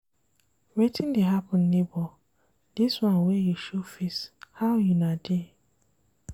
Wetin dey happen nebor, dis one wey you show face, how una dey?